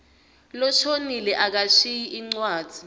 loshonile akashiyi incwadzi